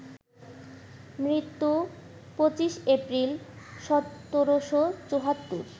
মৃত্যু: ২৫ এপ্রিল, ১৭৭৪